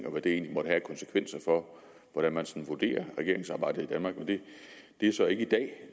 og hvad det egentlig måtte have af konsekvenser for hvordan man sådan vurderer regeringsarbejdet i danmark men det er så ikke i dag